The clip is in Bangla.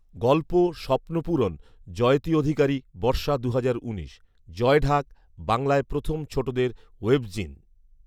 গল্প 'স্বপ্ন পূরণ', জয়তী অধিকারী, বর্ষা দুহাজার উনিশ। 'জয়ঢাক', বাংলায় প্রথম ছোটোদের ওয়েবজিন